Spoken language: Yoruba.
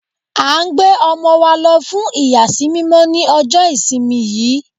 À ń gbé ọmọ wa lọ fún ìyà sí mímọ́ ní ọjọ́ ìsinmi yìí.